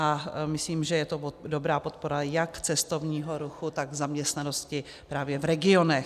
A myslím, že je to dobrá podpora jak cestovních ruchu, tak zaměstnanosti právě v regionech.